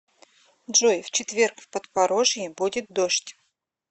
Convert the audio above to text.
джой в четверг в подпорожье будет дождь